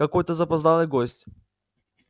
какой-то запоздалый гость